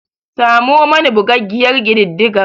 Samo mani bugaggiyar kididdigar.